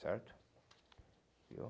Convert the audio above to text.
Certo? Viu